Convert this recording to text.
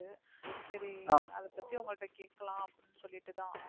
சரி அதை பத்தி உங்க கிட்ட கேக்கலாம் அப்படின்னு சொல்லிட்டு தான்.